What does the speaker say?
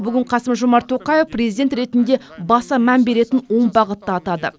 бүгін қасым жомарт тоқаев президент ретінде баса мән беретін он бағытты атады